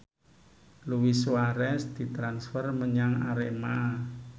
Luis Suarez ditransfer menyang Arema